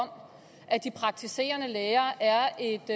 om at de praktiserende læger er et